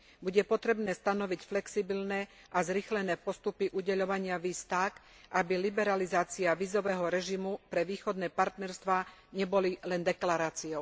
Bude potrebné stanoviť flexibilné a zrýchlené postupy udeľovania víz tak, aby liberalizácia vízového režimu pre východné partnerstvá nebola len deklaráciou.